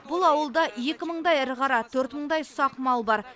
бұл ауылда екі мыңдай ірі қара төрт мыңдай ұсақ мал бар